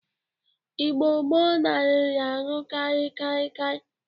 Igbo gboo nararị aṅụkarị kịakịa.